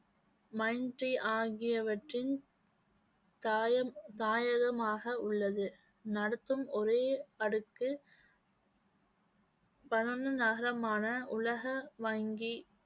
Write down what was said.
ஆகியவற்றின் தாயம் தாயகமாக உள்ளது. நடத்தும் ஒரே அடுக்கு நகரமான உலக வங்கி